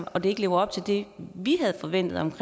og det ikke lever op til det vi havde forventet om